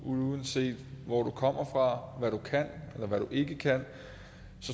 uanset hvor du kommer fra hvad du kan eller hvad du ikke kan